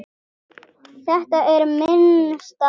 Þetta er minn staður.